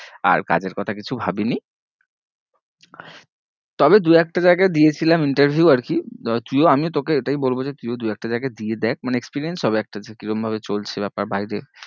আর কাজের কথা কিছু ভাবিনি তবে দু একটা জায়গায় দিয়েছিলাম interview আর কি, তুইও আমিও তোকে এটাই বলবো যে তুইও দুই একটা জায়গায় দিয়ে দেখ মানে experience হবে একটা যে কি রকম ভাবে চলছে ব্যাপার বাইরে।